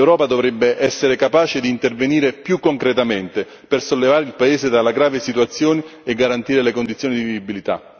L'Europa dovrebbe essere capace di intervenire più concretamente per sollevare il paese da questa grave situazione e garantire condizioni di vivibilità.